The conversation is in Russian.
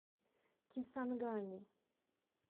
кисангани